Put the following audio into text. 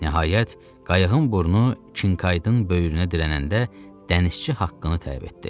Nəhayət, qayıqın burnu Kinkaydin böyrünə dirənəndə dənizçi haqqını tələb etdi.